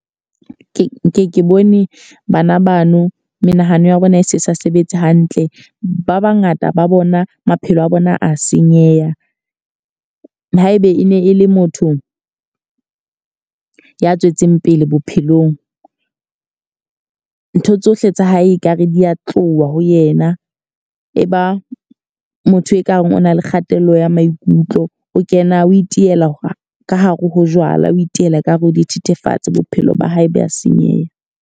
Ke nke ke bone bana bano menahano ya bona e se sa sebetse hantle. Ba ba ngata ba bona maphelo a bona a senyeha. Haebe e ne e le motho ya tswetseng pele bophelong, ntho tsohle tsa hae ekare di ya tloha ho yena. E ba motho ekare o na le kgatello ya maikutlo. O kena, o itiela ka hare ho jwala. O itiela ka hare ho dithethefatse. Bophelo ba hae ba senyeha.